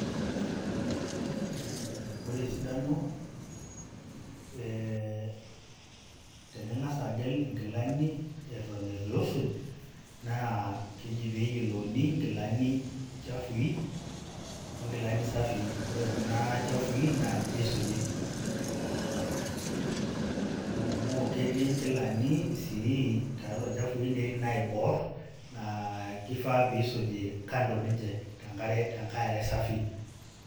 Ore esidano e tening'asa agel inkilani eton itu isuj, naa keji peyiolouni inkilani chafui, onkilani safii. Ore kuna chafui, naa ninche isuji. Ketii nkilani sii tatua ilchafui, netii naibor, naa kifaa pisuji kando ninche, tenkae are safi.